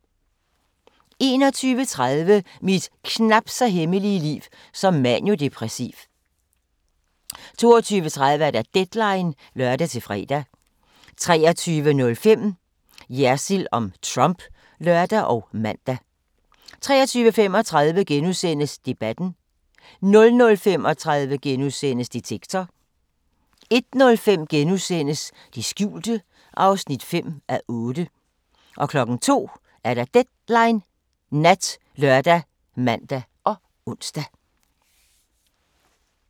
21:30: Mit knapt så hemmelige liv som maniodepressiv 22:30: Deadline (lør-fre) 23:05: Jersild om Trump (lør og man) 23:35: Debatten * 00:35: Detektor * 01:05: Det skjulte (5:8)* 02:00: Deadline Nat ( lør, man, ons)